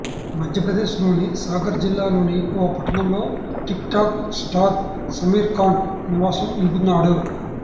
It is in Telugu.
మధ్యప్రదేశ్ లోని సాగర్ జిల్లాలోని ఓ పట్టణంలో TikTok star Sameer Khan నివాసం ఉంటున్నాడు